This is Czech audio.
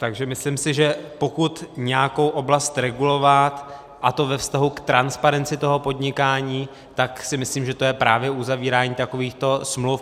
Takže si myslím, že pokud nějakou oblast regulovat, a to ve vztahu k transparenci toho podnikání, tak si myslím, že to je právě uzavírání takovýchto smluv.